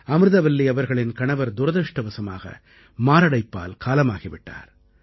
அமிர்தவல்லி அவர்களின் கணவர் துரதிர்ஷ்டவசமாக மாரடைப்பால் காலமாகி விட்டார்